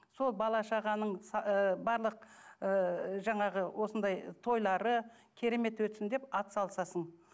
сол бала шағаның ы барлық ы жаңағы осындай тойлары керемет өтсін деп ат салысасың